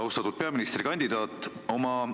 Austatud peaministrikandidaat!